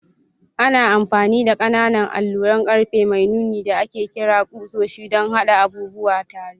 Ana amfani da ƙananan alluran ƙarfe mai nuni da ake kira ƙusoshi don haɗa abubuwa tare.